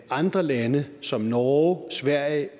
andre lande som norge sverige